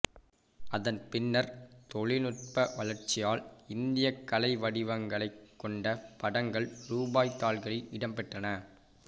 அதன் பின்னர் தொழில்நுட்ப வளர்ச்சியால் இந்தியக் கலை வடிவங்களைக் கொண்ட படங்கள் ரூபாய் தாள்களில் இடம்பெற்றன